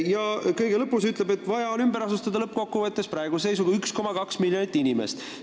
Ja kõige lõpus öeldakse, et lõppkokkuvõttes on vaja praeguse seisuga ümber asustada 1,2 miljonit inimest.